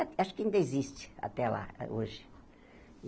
Acho que ainda existe até lá, hoje.